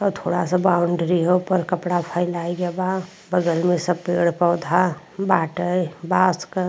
अ थोड़ा सा बाउंड्री ह ओपर कपडा फैलाई गै बा। बगल में सब पेड़-पौध बाटै बॉस क।